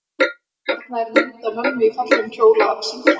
Og þarna er mynd af mömmu í fallegum kjól að syngja.